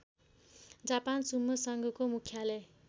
Japan sumo सङ्घको मुख्यालय